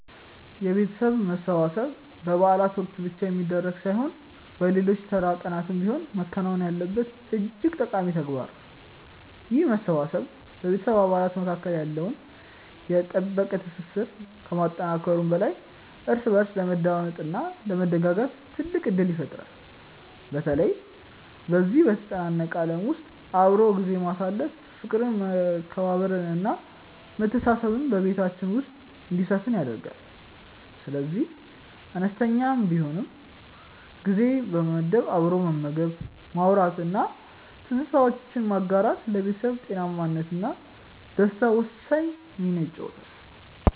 የቤተሰብ መሰብሰብ በበዓላት ወቅት ብቻ የሚደረግ ሳይሆን በሌሎች ተራ ቀናትም ቢሆን መከናወን ያለበት እጅግ ጠቃሚ ተግባር ነው። ይህ መሰባሰብ በቤተሰብ አባላት መካከል ያለውን የጠበቀ ትስስር ከማጠናከሩም በላይ እርስ በእርስ ለመደማመጥ እና ለመደጋገፍ ትልቅ ዕድል ይፈጥራል። በተለይ በዚህ በተጨናነቀ ዓለም ውስጥ አብሮ ጊዜ ማሳለፍ ፍቅርን መከባበርን እና መተሳሰብን በቤታችን ውስጥ እንዲሰፍን ያደርጋል። ስለዚህ አነስተኛም ቢሆን ጊዜ በመመደብ አብሮ መመገብ ማውራት እና ትዝታዎችን ማጋራት ለቤተሰብ ጤናማነት እና ደስታ ወሳኝ ሚና ይጫወታል